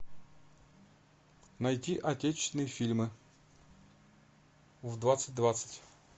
найди отечественные фильмы в двадцать двадцать